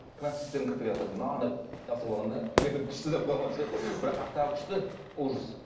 трансвеститтердің кірпігі оказывается мынандай қылып жабыстырып алған да мен айтамын күшті деп қоямын бірақ қаяқтағы күшті ужас